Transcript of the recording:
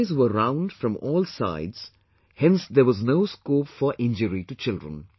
These toys were round from all sides hence there was no scope for injury to children